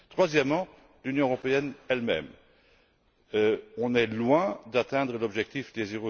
Troisièmement, l'Union européenne elle même, qui est loin d'atteindre l'objectif de